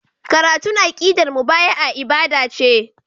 Karatun aqidar mubaya'a ibada ce.